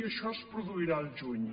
i això es produirà al juny